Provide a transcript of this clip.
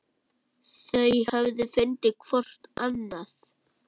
Þau höfðu fundið hvort annað.